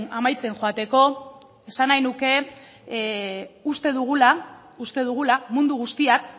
amaitzen joateko esan nahi nuke uste dugula mundu guztiak